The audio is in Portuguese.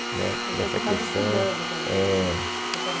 né? Então você estava estudando quando você foi pai. É. Então espera aí